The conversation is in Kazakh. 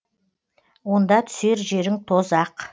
онда түсер жерің тозақ